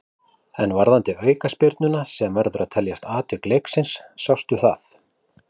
En varðandi aukaspyrnuna sem verður að teljast atvik leiksins, sástu það?